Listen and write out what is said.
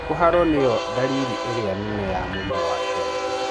Kũharo nĩyo dariri ĩrĩa nene ya mũrimũ wa giardia.